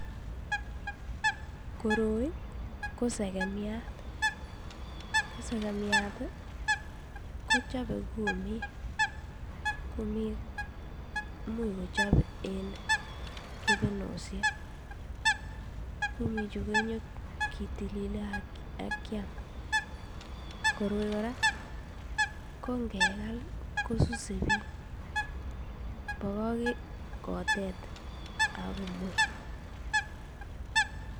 Koroi ko sekemiat, ko sekemiat tii kochobe kumik, kumik imuch kochob en kebenoshek. Komii chuu nyokitilile ak kiam koroi Koraa ko ngekal ko suse bik bokoken kotet ak komwei.